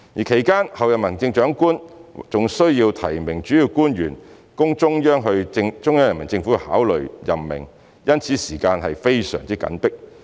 其間，候任行政長官還需要提名主要官員供中央人民政府考慮任命，因此時間非常緊迫。